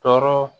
Tɔɔrɔ